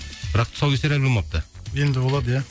бірақ тұсаукесер әлі болмапты енді болады иә